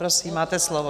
Prosím, máte slovo.